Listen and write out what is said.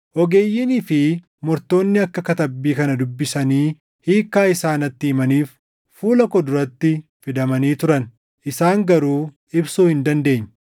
Ogeeyyiinii fi mortoonni akka katabbii kana dubbisanii hiikkaa isaa natti himaniif fuula koo duratti fidamanii turan; isaan garuu ibsuu hin dandeenye.